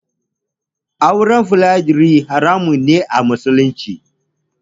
Auren Foliyandari haramun ne a musulunci.